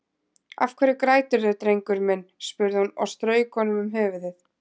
Af hverju græturðu drengurinn minn, spurði hún og strauk honum um höfuðið.